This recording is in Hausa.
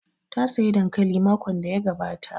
Ta saya dankali makon da ya gabata